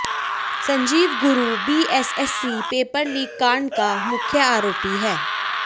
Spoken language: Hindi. Sanjeev Guru BSSC paper leak कांड का मुख्य आरोपी है